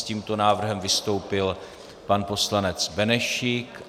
S tímto návrhem vystoupil pan poslanec Benešík.